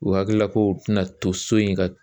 U hakilila kow tɛna to so in ka